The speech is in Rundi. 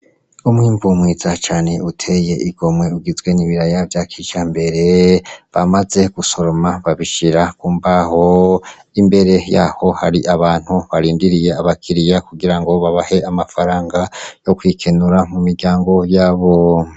Umwimbu mwiza cane uteye igomwe ugizwe n'ibiraya vya kijambereee , bamaze gusoroma babishira kumbaho , imbere yaho hari abantu barindiriye abakiliya kugirango babahe amafaranga yo kwikenura mu miryango yabo.